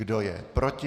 Kdo je proti?